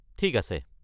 ঠিক আছে।